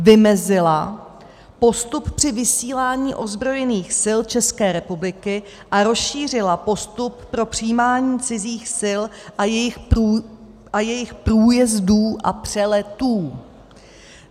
Vymezila postup při vysílání ozbrojených sil České republiky a rozšířila postup pro přijímání cizích sil a jejich průjezdů a přeletů.